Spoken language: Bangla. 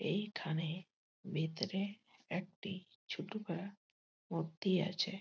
এইখানে ভিতরে একটি ছোটো পারা মূর্তি আছে।